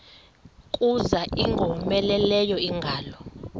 kuza ingowomeleleyo ingalo